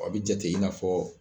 A bi jate i n'afɔ